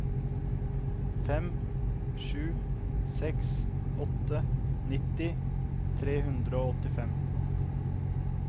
fem sju seks åtte nitti tre hundre og åttifem